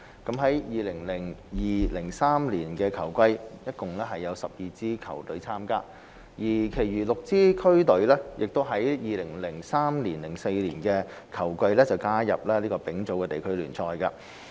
在 2002-2003 球季，共有12支區隊參加，其餘6支區隊亦於 2003-2004 球季加入丙組地區聯賽。